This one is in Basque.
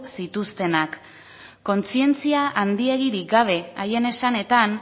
zituztenak kontzientzia handirik gabe haien esanetan